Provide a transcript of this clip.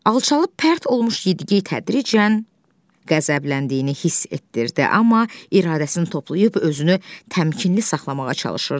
Alçalıb pərt olmuş Yedigey tədricən qəzəbləndiyini hiss etdirdi, amma iradəsini toplayıb özünü təmkinli saxlamağa çalışırdı.